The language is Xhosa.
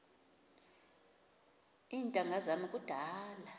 iintanga zam kudala